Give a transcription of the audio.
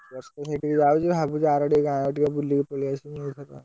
ଦଶ ଥର ସେଠିକି ଯାଉଛି, ଭାବୁଛି ଆରଡି ଗାଁ ଆଡେ ଟିକେ ବୁଲିକି ପଳେଇଆସିବି ଏଇକଥା,